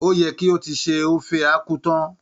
Ó yẹ kí o ti se Ofe Akwu tán!